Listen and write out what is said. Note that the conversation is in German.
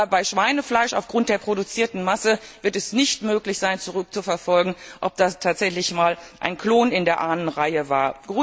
Aber bei Schweinefleisch wird es aufgrund der produzierten Masse nicht möglich sein, zurückzuverfolgen, ob da tatsächlich mal ein Klon in der Ahnenreihe war.